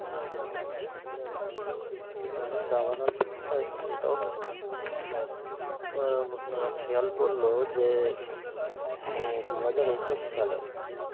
হম হম, আমি দাবানল খেয়াল পড়ল যে দুহাজার একুশ সালে